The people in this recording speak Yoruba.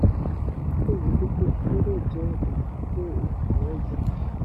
mo lérò: ìdókòwò dúkìá gbọ́dọ̀ jẹ́ ọ̀nà kó ohun-ìní jọ.